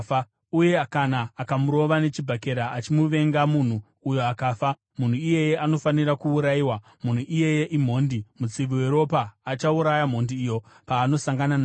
uye kana akamurova nechibhakera achimuvenga munhu uyo akafa, munhu iyeye anofanira kuurayiwa; munhu iyeye imhondi. Mutsivi weropa achauraya mhondi iyo paanosangana naye.